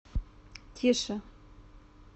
тише